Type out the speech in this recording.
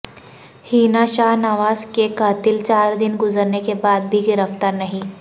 حنا شاہ نواز کے قاتل چار دن گذرنے کے بعد بھی گرفتار نہیں